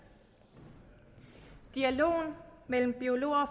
dialogen mellem biologer og